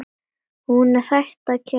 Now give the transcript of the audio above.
Hún er hætt að kjökra.